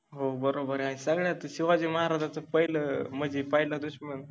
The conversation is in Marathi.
हो बरोबर आहे, सगळ्यात शिवाजि महाराजाच पहिल मनजे पहिला दुश्मन